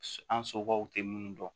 An somɔgɔw tɛ minnu dɔn